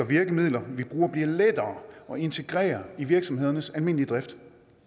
virkemidler vi bruger bliver lettere at integrere i virksomhedernes almindelige drift